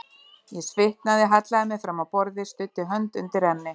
Ég svitnaði, hallaði mér fram á borðið, studdi hönd undir enni.